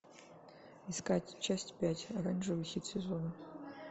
искать часть пять оранжевый хит сезона